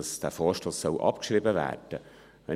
Dass der Vorstoss abgeschrieben werden soll: